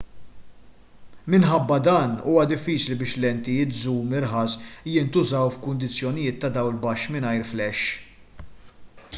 minħabba dan huwa diffiċli biex lentijiet żum irħas jintużaw f'kundizzjonijiet ta' dawl baxx mingħajr flash